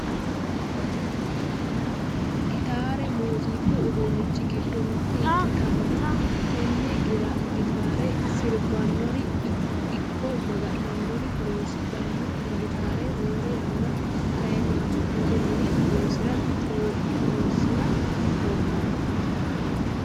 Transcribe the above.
Gitaare muuziqu uduunnichi giddo mitte ikkitanna tenne gitaare sirbitannori ikko maga'nitanori horonsidhanno. Gitaare roore yanna kayii ama'note mine horonsira roortanno.